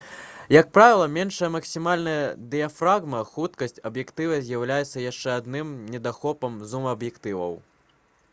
як правіла меншая максімальная дыяфрагма хуткасць аб'ектыва з'яўляецца яшчэ адным недахопам зум-аб'ектываў